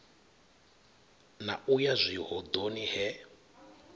na u ya zwihoḓoni he